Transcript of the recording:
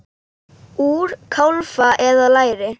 Úr kálfa eða læri!